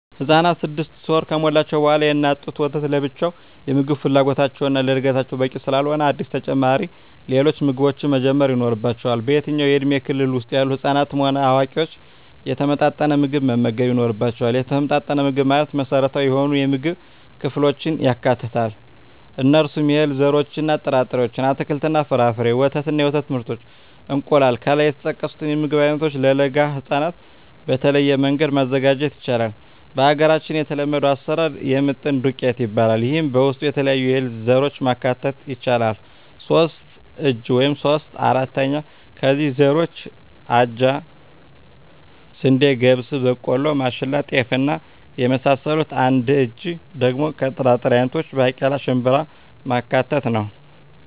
ህፃናት ስድስት ወር ከሞላቸዉ በኋላ የእናት ጡት ወተት ለብቻዉ የምግብ ፍላጎታቸዉን እና ለእድገታቸዉ በቂ ስላልሆነ አዲስ ተጨማሪ ሌሎች ምግቦችን መጀመር ይኖሮባቸዋል በየትኛዉም የእድሜ ክልል ዉስጥ ያሉ ህፃናትም ሆነ አዋቂዎች የተመጣጠነ ምግብ መመገብ ይኖርባየዋል የተመጣጠነ ምግብ ማለት መሰረታዊ የሆኑየምግብ ክፍሎችን ያካትታል እነርሱም - የእህል ዘሮችእና ጥራጥሬዎች - አትክልትና ፍራፍሬ - ወተት እና የወተት ምርቶች - እንቁላል ከላይ የተጠቀሱትን የምግብ አይነቶች ለለጋ ህፃናት በተለየ መንገድ ማዘጋጀት ይቻላል በሀገራችን የተለመደዉ አሰራር የምጥን ዱቄት ይባላል ይሄም በዉስጡ የተለያዩ የእህል ዘሮችን ማካተት ይቻላል ሶስት እጂ (3/4) ከእህል ዘሮች አጃ፣ ስንዴ፣ ገብስ፣ ቦቆሎማሽላ፣ ጤፍ እና የመሳሰሉት አንድ እጂ(1/4)ደሞ ከጥራጥሬ አይነቶች ባቄላ፣ ሽንብራማካተት ነዉ